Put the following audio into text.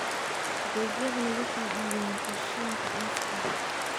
Adeegyadani waxay caawiyaan qorsheynta aaska.